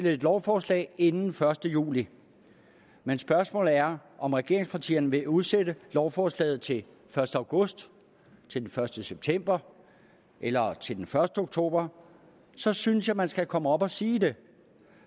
et lovforslag inden den første juli men spørgsmålet er om regeringspartierne vil udsætte lovforslaget til den første august den første september eller til den første oktober så synes jeg man skal komme op og sige det